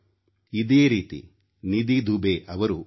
ಅದೇ ರೀತಿ ನಿಧಿ ದುಬೆ ಅವರು ಕೂಡ